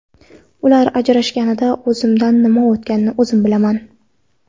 Ular ajrashganida o‘zimdan nima o‘tganini o‘zim bilaman.